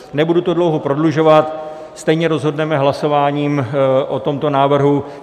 Nebudu to dlouho prodlužovat, stejně rozhodneme hlasováním o tomto návrhu.